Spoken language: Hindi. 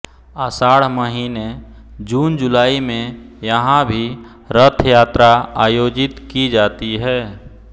आषाढ़ महीने जूनजुलाई में यहां भी रथ यात्रा आयोजित की जाती है